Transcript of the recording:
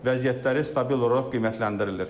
Vəziyyətləri stabil olaraq qiymətləndirilir.